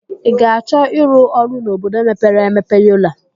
I ga-achọ ịrụ ọrụ n'obodo mepere emepe Yola?